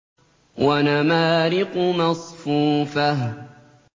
وَنَمَارِقُ مَصْفُوفَةٌ